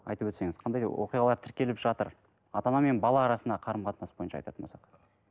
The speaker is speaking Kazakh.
айтып өтсеңіз қандай оқиғалар тіркеліп жатыр ата ана мен бала арасында қарым қатынас бойынша айтатын болсақ